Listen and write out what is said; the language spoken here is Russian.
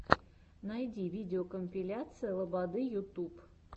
найти видеокомпиляция лободы ютуб